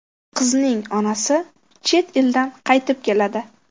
Qizning onasi chet eldan qaytib keladi.